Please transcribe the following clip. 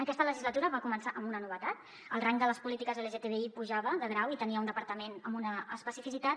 aquesta legislatura va començar amb una novetat el rang de les polítiques lgtbi pujava de grau i tenia un departament amb una especificitat